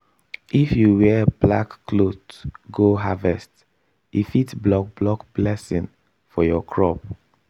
if you wear black cloth go harvest e fit block block blessing for your crop.